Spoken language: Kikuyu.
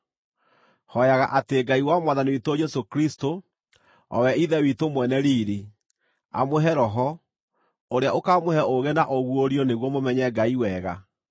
Hooyaga atĩ Ngai wa Mwathani witũ Jesũ Kristũ, o we ithe witũ mwene riiri, amũhe Roho, ũrĩa ũkamũhe ũũgĩ na ũguũrio nĩguo mũmenye Ngai wega.